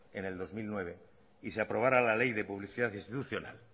en el dos mil nueve y se aprobará la ley de publicidad institucional